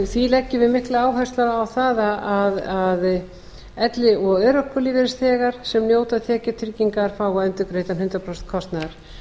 því leggjum við miklu áherslu á það að elli og örorkulífeyrisþegar sem njóta tekjutryggingar fái endurgreidd hundrað prósent kostnaðar